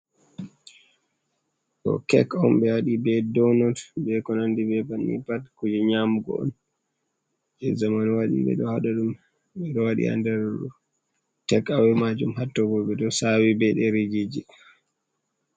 Ɗo kek on, ɓe waɗi be donot be ko nandi be banni. Pat kuje nyamugo on je zamanu waɗi ɓe ɗo waɗa ɗum. Ɗum ɗo waɗi ha nder tek awe maajum hatto bo ɓe ɗo sawi be ɗerejije.